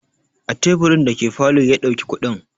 A teburin da ke falo ya ɗauki kuɗin.